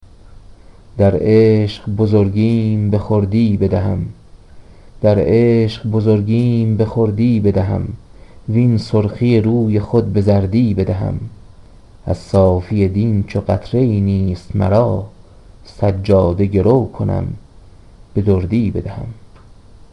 در عشق بزرگیم به خردی بدهم وین سرخی روی خود به زردی بدهم از صافی دین چو قطرهای نیست مرا سجاده گرو کنم به دردی بدهم